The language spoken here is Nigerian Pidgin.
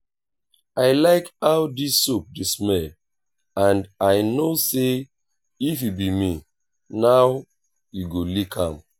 i like how dis soap dey smell and i no say if you be me now you go lick am